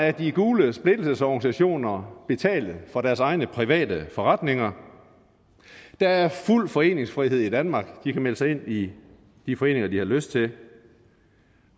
af de gule splittelsesorganisationer betale for deres egne private forretninger der er fuld foreningsfrihed i danmark de kan melde sig ind i de foreninger de har lyst til